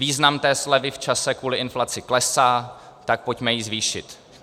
Význam té slevy v čase kvůli inflaci klesá, tak ji pojďme zvýšit.